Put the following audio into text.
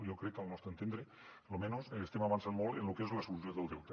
jo crec que al nostre entendre al menys estem avançant molt en lo que és la solució del delta